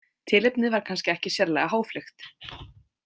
Tilefnið var kannski ekki sérlega háfleygt.